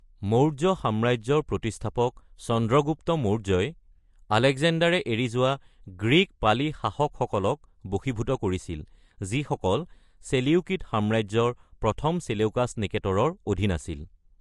মৌৰ্য সাম্ৰাজ্যৰ প্ৰতিষ্ঠাপক চন্দ্ৰগুপ্ত মৌৰ্যই আলেকজেণ্ডাৰে এৰি যোৱা গ্ৰীক পালি-শাসকসকলক বশীভূত কৰিছিল, যিসকল চেলেউকিড সাম্ৰাজ্যৰ ১ম চেলেউকাছ নিকেটৰৰ অধীন আছিল।